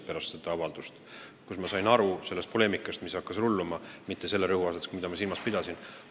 – pärast seda avaldust avaldasin ma ka oma ühemõttelise kahetsuse ja rõhutasin, et iga kuritegu peab saama karistuse.